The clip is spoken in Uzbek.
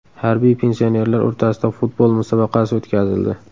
Harbiy pensionerlar o‘rtasida futbol musobaqasi o‘tkazildi.